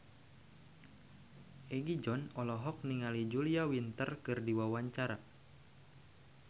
Egi John olohok ningali Julia Winter keur diwawancara